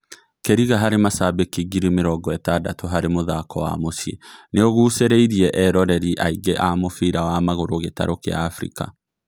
Kĩriga harĩ macambĩki ngiri mĩrongo-ĩtandatũ harĩ mũthako wa mũciĩ nĩ ũgucĩrĩirie eroreri aingĩ a mũbĩra wa magũrũ gĩtarũ kĩa Afirika.